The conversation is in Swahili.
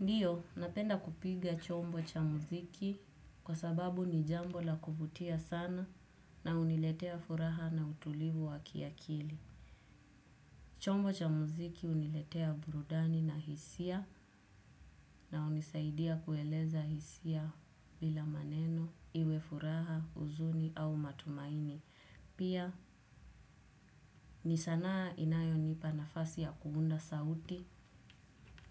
Ndiyo, napenda kupiga chombo cha muziki kwa sababu ni jambo la kuvutia sana na uniletea furaha na utulivu wa kiakili. Chombo cha muziki uniletea burudani na hisia na unisaidia kueleza hisia bila maneno, iwe furaha, uzuni au matumaini. Pia, ni sanaa inayonipa nafasi ya kuunda sauti